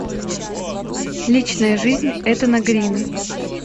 личная жизнь этана грина